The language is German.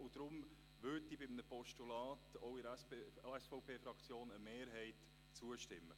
Deshalb würde bei einem Postulat auch in der SVP-Fraktion eine Mehrheit zustimmen.